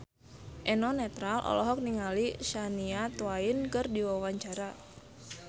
Eno Netral olohok ningali Shania Twain keur diwawancara